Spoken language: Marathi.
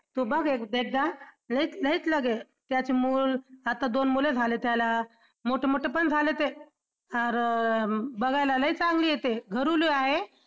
तू बघ एकदा लईच त्याचं मूल आता दोन मुलं झालं त्याला मोठं मोठंपण झालं ते बघायला लई चांगली आहे ते आहे.